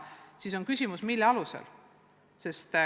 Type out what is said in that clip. Kui nii, siis on küsimus, mille alusel.